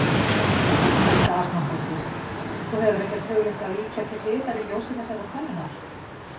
Helga Arnardóttir: Þú hefur ekkert hugleitt að víkja til hliðar í ljósi þessarar könnunar?